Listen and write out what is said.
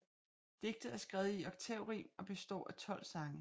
Digtet er skrevet i oktaverim og består af 12 sange